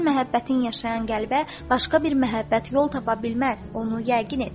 Sənin məhəbbətin yaşayan qəlbə başqa bir məhəbbət yol tapa bilməz, onu yəqin et.